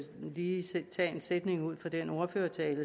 lige tage en sætning ud fra den ordførertale